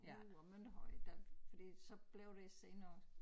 Uh og Mønterhøj der fordi så blev det også senere